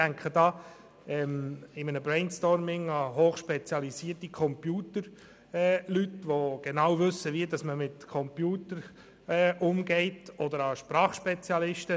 Ich denke dabei an hochspezialisierte Computerfachleute, welche genau wissen, wie man mit Computern umgeht oder auch an Sprachspezialisten.